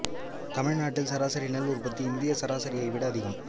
தமிழ்நாட்டில் சராசரி நெல் உற்பத்தி இந்திய சராசரியை விட அதிகம்